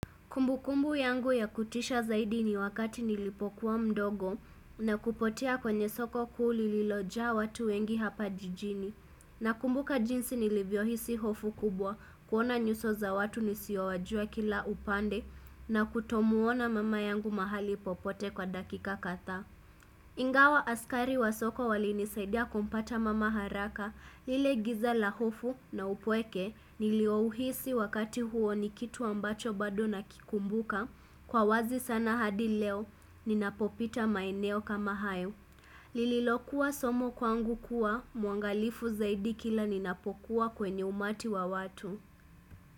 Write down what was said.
Kumbukumbu yangu ya kutisha zaidi ni wakati nilipokuwa mdogo na kupotea kwenye soko kuu lililojaa watu wengi hapa jijini. Na kumbuka jinsi nilivyo hisi hofu kubwa kuona nyuso za watu nisiowajua kila upande na kutomuona mama yangu mahali popote kwa dakika kadha. Ingawa askari wa soko wali nisaidia kumpata mama haraka lile giza la hofu na upweke niliouhisi wakati huo ni kitu ambacho bado nakikumbuka kwa wazi sana hadi leo ninapopita maeneo kama hayo. Lililokuwa somo kwangu kuwa mwangalifu zaidi kila ninapokuwa kwenye umati wa watu.